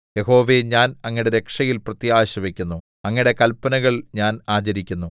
യഹോവേ ഞാൻ അങ്ങയുടെ രക്ഷയിൽ പ്രത്യാശ വയ്ക്കുന്നു അങ്ങയുടെ കല്പനകൾ ഞാൻ ആചരിക്കുന്നു